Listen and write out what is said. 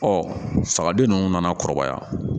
sagaden nunnu nana kɔrɔbaya